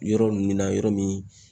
Yɔrɔ min na yɔrɔ min